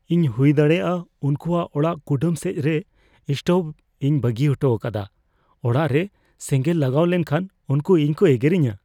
ᱤᱧ ᱦᱩᱭᱫᱟᱲᱮᱭᱟᱜᱼᱟ ᱩᱱᱠᱩᱣᱟᱜ ᱚᱲᱟᱜ ᱠᱩᱰᱟᱹᱢ ᱥᱮᱡ ᱨᱮ ᱥᱴᱳᱵᱷ ᱤᱧ ᱵᱟᱹᱜᱤ ᱚᱴᱚ ᱟᱠᱟᱫᱟ ᱾ ᱚᱲᱟᱜ ᱨᱮ ᱥᱮᱸᱜᱮᱸᱞ ᱞᱟᱜᱟᱣ ᱞᱮᱱᱠᱷᱟᱱ ᱩᱱᱠᱩ ᱤᱧ ᱠᱚ ᱮᱜᱮᱨᱤᱧᱟᱹ ᱾